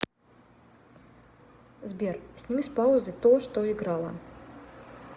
сбер сними с паузы то что играло